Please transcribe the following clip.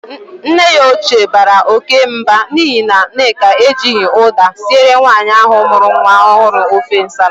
Nne ya ochie bara oke Mba n'ihi na Nneka ejighi uda sire nwaanyi ahu muru nwa ohuru ofe nsala.